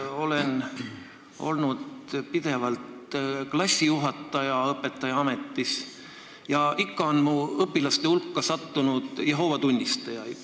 Olen pidevalt olnud õpetajaametis ja klassijuhataja ning ikka on mu õpilaste hulka sattunud Jehoova tunnistajaid.